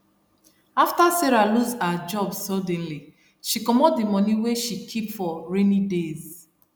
after sarah lose her job suddenly she commot d money wey she keep for rainy days